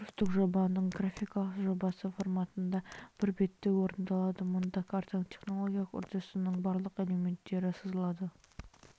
курстық жобаның графикалық жобасы форматында бір бетте орындалады мұнда картаның технологиялық үрдісінің барлық элементтері сызылады